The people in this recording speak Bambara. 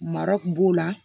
Mara kun b'o la